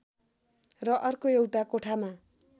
र अर्को एउटा कोठामा